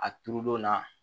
A turu don na